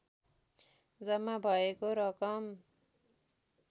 जम्मा भएको रकम